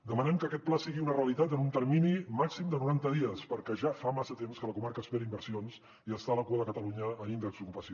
demanem que aquest pla sigui una realitat en un termini màxim de noranta dies perquè ja fa massa temps que la comarca espera inversions i està a la cua de catalunya en índex d’ocupació